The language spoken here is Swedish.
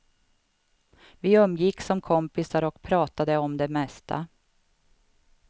Vi umgicks som kompisar och pratade om det mesta.